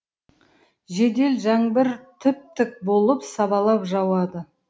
жедел жаңбыр тіп тік болып сабалап жауады